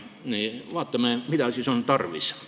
Vaatame, mida siis tarvis on.